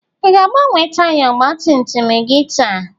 Ị ga-agbanwe taya ọgba tum tum gị taa?